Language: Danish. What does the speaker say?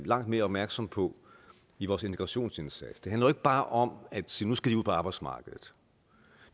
langt mere opmærksomme på i vores integrationsindsats det handler ikke bare om at sige at nu skal de ud på arbejdsmarkedet